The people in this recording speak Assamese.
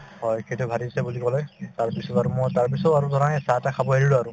হয়, সেইটোয়ে বাঢ়িছে বুলি কলে তাৰ পিছত আৰু মই তাৰপিছত আৰু ধৰা এই চাহ-তাহ খাব এৰিলো আৰু